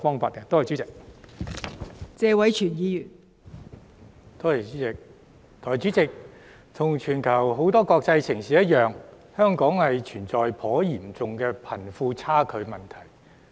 代理主席，一如全球多個國際城市般，香港存在頗嚴重的貧富差距問題。